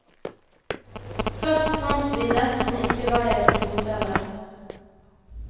Først fant vi nesten ikke veien til hotellet.